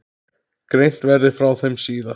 Greint verði frá þeim síðar.